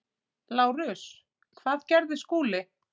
LÁRUS: Hvað gerði Skúli?